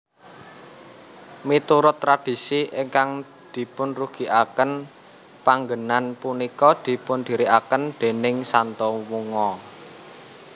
Miturut tradisi ingkang dipunrugiaken panggenan punika dipundiriaken déning Santo Mungo